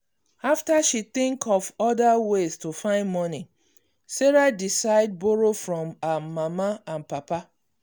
after she think of other ways to find money sarah decide borrow from her mama and papa.